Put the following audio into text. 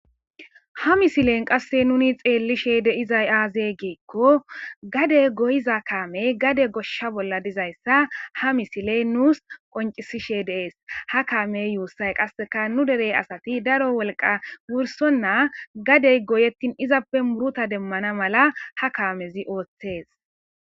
Ha misilen qasse nuni xeellishe dizay aaze giikko gade goyiza kaamey gade goshsha bolla dizayssa ha misiley nuusi qonccisishe de'es. Ha kaamey guussa qasseka nu dere asati daro wolqa wursonna gadey goyettin izappe muruta demmana mala ha kaamezi ooththees.